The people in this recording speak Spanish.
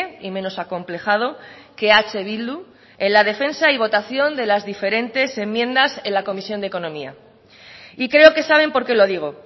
y menos acomplejado que eh bildu en la defensa y votación de las diferentes enmiendas en la comisión de economía y creo que saben por qué lo digo